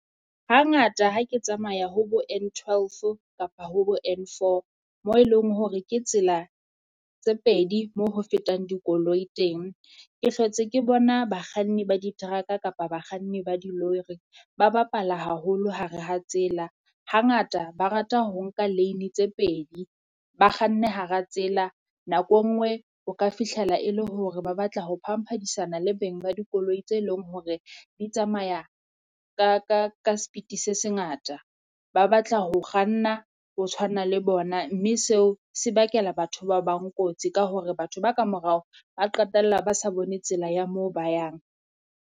Hangata ha ke tsamaya ho bo N12 kapa ho bo N4 moo eleng hore ke tsela tse pedi moo ho fetang dikoloi teng, ke hlotse ke bona bakganni ba di teraka kapa bakganni ba di lori. Ba bapala haholo ha re ha tsela hangata ba rata ho nka lane tse pedi, ba kganne hara tsela, nako e nngwe o ka fihlela e le hore ba batla ho phampadisana le beng ba dikoloi tse leng hore di tsamaya ka ka ka speed se sengata. Ba batla ho kganna ho tshwana le bona mme seo se bakela batho ba bang Kotsi, ka hore batho ba kamorao ba qetella ba sa bone tsela ya mo ba yang.